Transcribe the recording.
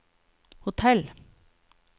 hotell